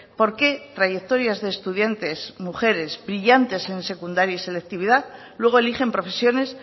por qué trayectorias de estudiantes mujeres brillantes en secundaria y selectividad luego eligen profesiones